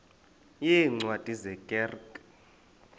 yeencwadi ye kerk